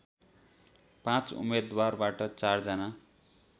पाँच उम्मेदवारबाट चार जना